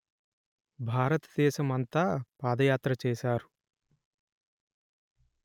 భారతదేశము అంతా పాదయాత్ర చేశారు